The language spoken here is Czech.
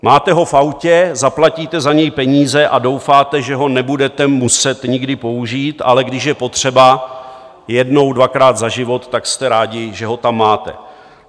Máte ho v autě, zaplatíte za něj peníze a doufáte, že ho nebudete muset nikdy použít, ale když je potřeba jednou dvakrát za život, tak jste rádi, že ho tam máte.